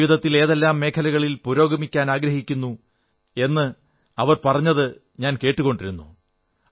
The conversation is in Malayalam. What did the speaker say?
അവർ ജീവിതത്തിൽ ഏതെല്ലാം മേഖലകളിൽ പുരോഗമിക്കാനാഗ്രഹിക്കുന്നു എന്ന് അവർ പറഞ്ഞതു ഞാൻ കേട്ടുകൊണ്ടിരുന്നു